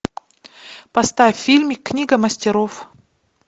поставь фильм книга мастеров